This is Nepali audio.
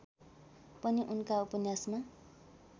पनि उनका उपन्यासमा